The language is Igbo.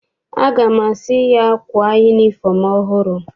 Aga m asị ya, kwaa yunifọm ọhụrụ!